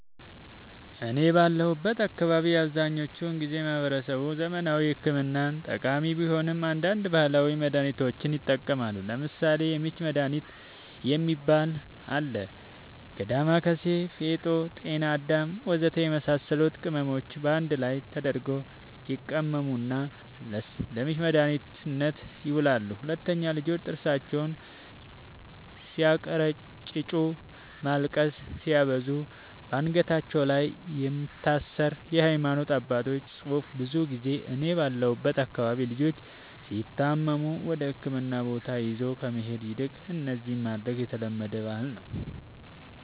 እኔ ባለሁበት አካባቢ አብዛኛውን ጊዜ ማህበረሰቡ ዘመናዊ ሕክምና ተጠቃሚ ቢሆንም አንዳንድ ባህላዊ መድሃኒቶችንም ይጠቀማሉ ለምሳሌ:- የምች መድሃኒት የሚባል አለ ከ ዳማከሲ ፌጦ ጤናአዳም ወዘተ የመሳሰሉት ቅመሞች ባንድ ላይ ተደርገው ይቀመሙና ለምች መድኃኒትነት ይውላሉ 2, ልጆች ጥርሳቸውን ስያንከራጭጩ ማልቀስ ሲያበዙ ባንገታቸው ላይ የሚታሰር የሃይማኖት አባቶች ፅሁፍ ብዙ ጊዜ እኔ ባለሁበት አካባቢ ልጆች ሲታመሙ ወደህክምና ቦታ ይዞ ከመሄድ ይልቅ እነዚህን ማድረግ የተለመደ ባህል ነዉ